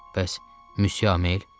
Bəs Müsyə Amel?